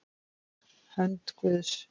Hönd Guðs